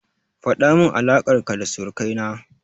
Faɗamin alaƙar ka da surukai na.